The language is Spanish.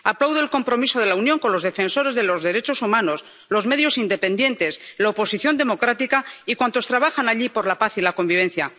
Aplaudo el compromiso de la Unión con los defensores de los derechos humanos, los medios independientes, la oposición democrática y cuantos trabajan allí por la paz y la convivencia.